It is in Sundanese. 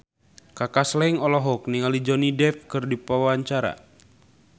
Kaka Slank olohok ningali Johnny Depp keur diwawancara